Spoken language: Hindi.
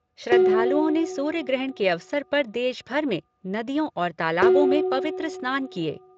श्रद्वालुओं ने सूर्य ग्रहण के अवसर पर देशभर में नदियों और तालाबों में पवित्र स्नान किये।